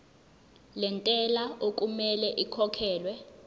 lentela okumele ikhokhekhelwe